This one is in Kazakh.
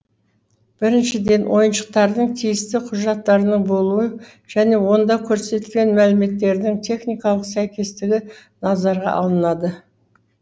біріншіден ойыншықтардың тиісті құжаттарының болуы және онда көрсетілген мәліметтердің техникалық сәйкестігі назарға алынады